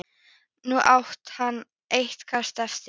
Nú átti hann eitt kast eftir.